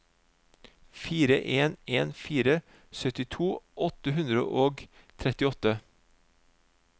fire en en fire syttito åtte hundre og trettiåtte